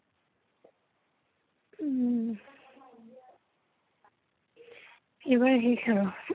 উম । এইবাৰ শেষ আৰু।